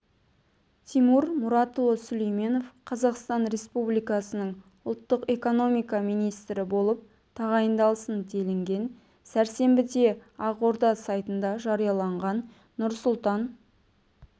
тимур мұратұлы сүлейменов қазақстан республикасының ұлттық экономика министрі болып тағайындалсын делінген сәрсенбіде ақорда сайтында жарияланған нұрсұлтан